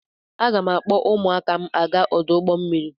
Aga m akpọ ụmụaka m aga ọdụ ụgbọ mmiri.